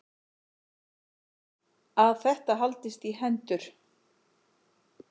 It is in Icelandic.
Að þetta haldist í hendur.